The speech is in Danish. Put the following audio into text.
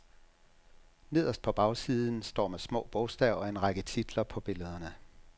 Nederst på bagsiden står med små bogstaver en række titler på billederne.